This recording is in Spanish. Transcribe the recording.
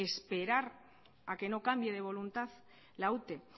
esperar a que no cambie de voluntad la ute